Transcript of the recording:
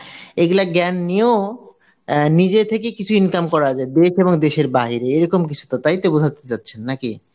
এইগুলা জ্ঞান নিয়েও অ্যাঁ নিজে থেকে কিছু income করা যায়, দেশ এবং দেশের বাইরে এইরকম কিছু তো তাই তো বোঝাতে চাচ্ছেন না কি?